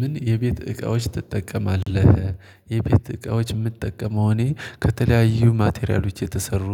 ምን የቤት እቃዎች ትጠቀማለህ? የቤት እቃዎች የምጠቀመው እኔ ከተለያዩ ማቴሪያሎች የተሰሩ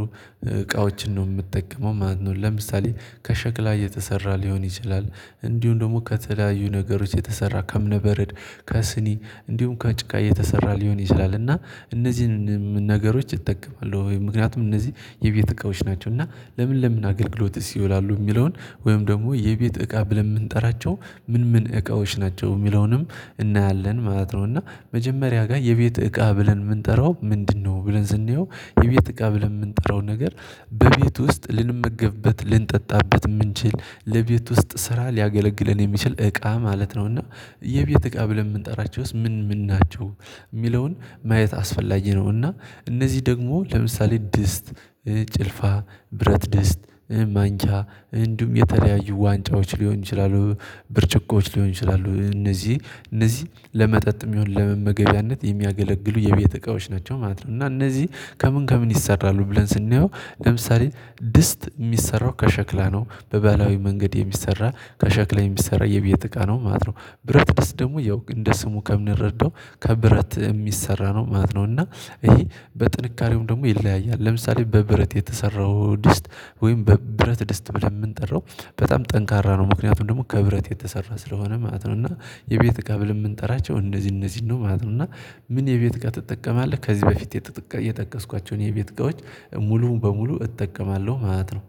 እቃዎችን ነው የምትጠቀመው ማለት ነው። ለምሳሌ ከሸክላ እየተሰራ ሊሆን ይችላል እንዲሁም ደግሞ ከተለያዩ ነገሮች የተሰራ ከእምነበረድ ከስኒ እንዲሁም ከጭቃ የተሰራ ሊሆን ይችላል። እና እነዚህንም ነገሮች እጠቀማለሁ ወይ ምክንያቱም እነዚህ የቤት እቃዎች ናቸው እና ለምን ለምን አገልግሎትስ ይውላሉ የሚለውን ወይም ደግሞ የቤት እቃ ብለን የምንጠራቸው ምን ምን እቃዎች ናቸው የሚለውንም እናያለን ማለት ነው። እና መጀመሪያ ጋር የቤት እቃ ብለን የምንጠራው ምንድነው? ብለን ስናየው የቤት እቃ ብለን የምንጠራው ነገር በቤት ውስጥ ልንመገብበት ልንጠጣበት የምንችል ለቤት ውስጥ ስራ ሊያገለግለን የሚችል እቃ ማለት ነው። እና የቤት እቃ ብለን የምንጠራቸውስ ምን ምን ናቸው? የሚለውን ማየት አስፈላጊ ነውና እነዚህ ደግሞ ለምሳሌ ድስት ጭልፋ ብረት ድስት ማንኪያ እንዲሁ የተለያዩ ዋንጫዎች ሊሆን ይችላሉ ብርጭቆዎች ሊሆን ይችላሉ እነዚህ እነዚህ ለመጠጥም ይሁን ለመመገቢያነት የሚያገለግሉ የቤት እቃዎች ናቸው ማለት ነው። እና እነዚህ ከምን ከምን ይሰራሉ ብለን ስናየው ለምሳሌ ድስት የሚሰራው ከሸክላ ነው በባህላዊ መንገድ የሚሰራ ከሸክላ የሚሰራ የቤት እቃ ነው ማለት ነው። ብረት ድስት ደግሞ ያው እንደ ስሙ ከምንረዳው ከብረት የሚሰራ ነው ማለት ነው። እና ይሄ በጥንካሬውም ደግሞ ይለያያል ለምሳሌ በብረት የተሰራው ድስት ወይም በ ብረት ድስት የምንጠራው በጣም ጠንካራ ነው ምክንያቱም ደግሞ ከብረት የተሰራ ስለሆነ ማለት ነው። እና የቤት እቃ ብለን የምንጠራቸው እነዚህ እነዚህን ነው ማለት ነው። እና ምን የቤት ጋር ትጠቀማለህ? ከዚህ በፊት የጠቀስኳቸውን የቤት እቃዎች በሙሉ እጠቀማለሁ ማለት ነው